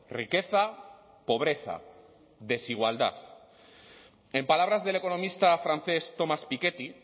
riqueza pobreza desigualdad en palabras del economista francés thomas piketty